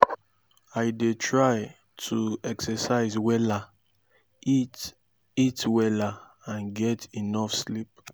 i dey try to exercise wella eat eat wella and get enough sleep.